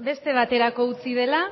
beste baterako utzi dela